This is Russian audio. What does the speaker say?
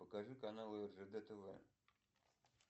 покажи каналы ржд тв